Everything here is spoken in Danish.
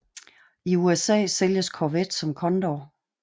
I USA sælges Corvette som Condor